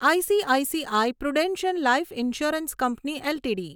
ICICI Prudential life insurance company LTD